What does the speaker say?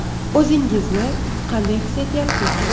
O‘zingizni qanday his etyapsiz?